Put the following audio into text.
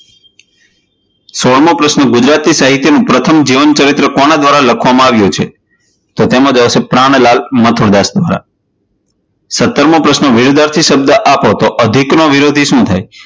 સોળમો પ્રશ્ન, ગુજરાતી સાહિત્યનું પ્રથમ જીવનચરિત્ર કોના દ્વારા લખવામાં આવ્યું છે? તો તેમાં જવાબ આવશે પ્રાણલાલ મથુરદાસ દ્વારા સતરમો પ્રશ્ન, વિરોધાર્થી શબ્દ આપો, તો અધિક નો વિરોધી શું થાય?